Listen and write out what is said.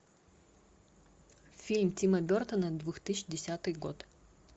фильм тима бертона две тысячи десятый год